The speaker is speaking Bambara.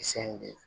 Kisɛ in de